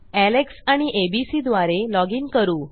Alex आणि ABC द्वारे log in करू